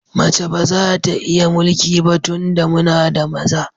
Mace ba za ta iya mulki ba tunda muna da maza.